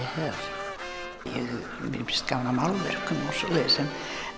hef gaman af málverkum og svoleiðis en